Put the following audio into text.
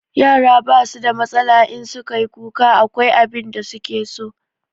Yara ba su da matsala, in su ka yi kuka akwai abin da su ke so.